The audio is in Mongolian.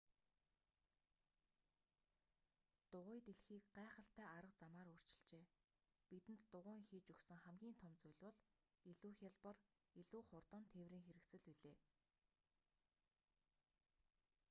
дугуй дэлхийг гайхалтай арга замаар өөрчилжээ бидэнд дугуйн хийж өгсөн хамгийн том зүйл бол илүү хялбар илүү хурдан тээврийн хэрэгсэл билээ